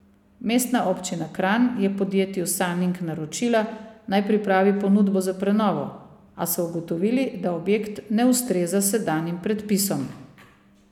Mestna občina Kranj je podjetju Saning naročila, naj pripravi ponudbo za prenovo, a so ugotovili, da objekt ne ustreza sedanjim predpisom.